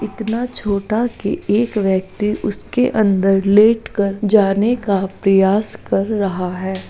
इतना छोटा की एक व्यक्ति उसके अंदर लेट कर जाने का प्रयास कर रहा है।